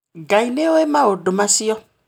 Ngai nĩ owĩ maũndũ macio